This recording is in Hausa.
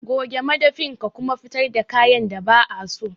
Goge madafin ka kuma fitar da kayan da ba'a so.